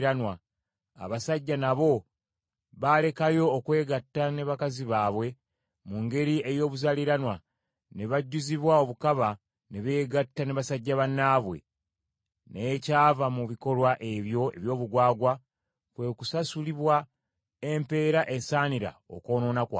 Abasajja nabo baalekayo okwegatta ne bakazi baabwe mu ngeri ey’obuzaaliranwa, ne bajjuzibwa obukaba ne beegatta ne basajja bannaabwe. N’ekyava mu bikolwa ebyo eby’obugwagwa, kwe kusasulibwa empeera esaanira okwonoona kwabwe.